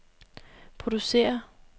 producerer